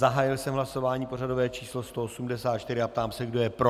Zahájil jsem hlasování pořadové číslo 184 a ptám se, kdo je pro.